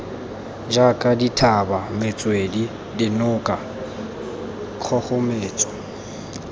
jaaka dithaba metswedi dinoka kgogometso